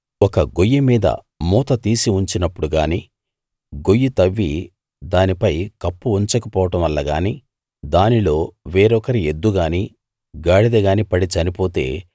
ఒక గొయ్యి మీద మూత తీసి ఉంచినప్పుడు గానీ గొయ్యి తవ్వి దానిపై కప్పు ఉంచక పోవడం వల్ల గానీ దానిలో వేరొకరి ఎద్దు గానీ గాడిద గానీ పడి చనిపోతే